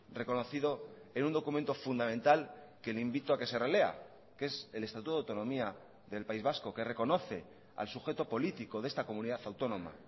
reconocido en un documento fundamental que le invito a que se relea que es el estatuto de autonomía del país vasco que reconoce al sujeto político de esta comunidad autónoma